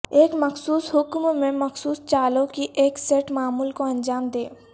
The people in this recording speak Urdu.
ایک مخصوص حکم میں مخصوص چالوں کی ایک سیٹ معمول کو انجام دیں